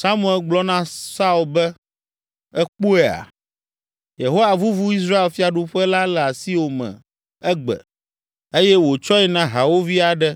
Samuel gblɔ na Saul be, “Èkpɔea? Yehowa vuvu Israel fiaɖuƒe la le asiwò me egbe eye wòtsɔe na hawòvi aɖe